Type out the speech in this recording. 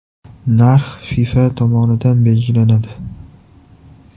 Narx FIFA tomonidan belgilanadi.